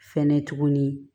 Fɛnɛ tuguni